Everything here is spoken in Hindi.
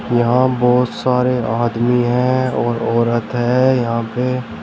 यहां बहोत सारे आदमी है और औरत है यहां पे--